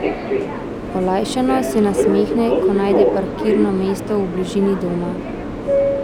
Olajšano se nasmehne, ko najde parkirno mesto v bližini doma.